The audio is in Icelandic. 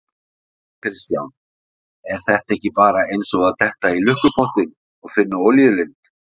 Kristján: Er þetta ekki bara eins og að detta í lukkupottinn og finna olíulind?